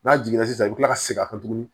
N'a jiginna sisan i bɛ kila ka segin tuguni